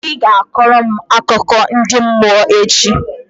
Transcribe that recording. Ị ga-akọrọ m akụkọ ndi mmụọ echi!